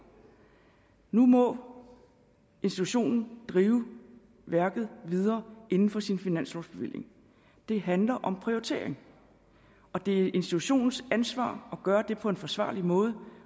nu må institutionen drive værket videre inden for sin finanslovsbevilling det handler om prioritering det er institutionens ansvar at gøre det på en forsvarlig måde